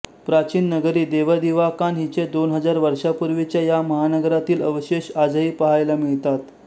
प्राचीन नगरी देवदिवाकान हिचे दोन हजार वर्षांपूर्वीच्या या महानगरीतील अवशेष आजही पहायला मिळतात